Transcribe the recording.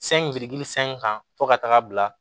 Sɛn biriki san in kan fɔ ka taga bila